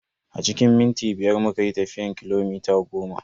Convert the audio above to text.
A cikin minti biyar muka yi tafiyan kilomita goma.